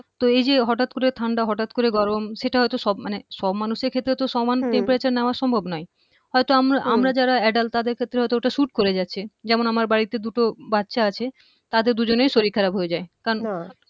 তো এই যে হঠাৎ করে ঠান্ডা হঠাৎ করে গরম সেটা হয়তো সব মানে সব মানুষের ক্ষেত্রে তো সমান temperature হম নেয়া সম্ভব নয় হয়তো হম আমরা যারা adult তাদের ক্ষেত্রে হয়তো ওটা suite করে যাচ্ছে যেমন আমার বাড়িতে দুটো বাচ্চা আছে তাদের দুজনের শরীর খারাপ হয়ে যায়